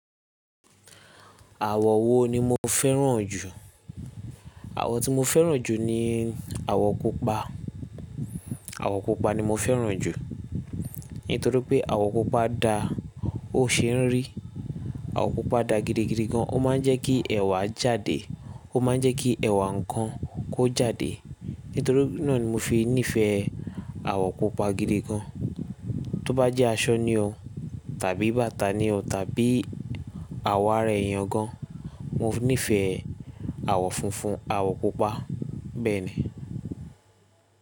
Àwọ̀ wo ni mo fẹ́ràn jù? Àwọ̀ tí mo fẹ́ràn jù ni àwọ̀ pupa. Àwọ̀ pupa ni mo fẹ́ràn jù. Nítorí pé àwọ̀ pupa da ó ṣe ń rí. Àwọ̀ pupa da gidigidi gan. Ó máa ń jẹ́ kí ẹ̀wà jáde. Ó máa ń jẹ́ kí ẹ̀wà nǹkan kó jáde. Nítorí náà ni mo fi nífẹ̀ẹ́ àwọ̀ pupa gidi gan. Tó bá jẹ́ aṣọ ni o tàbí bàtà ni o tàbí àwọ̀ ara èèyàn gan. Mo nífẹ̀ẹ́ àwọ̀ funfun, àwọ̀ pupa bẹ́ẹ̀ ni.